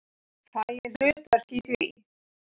Fæ ég hlutverk í því?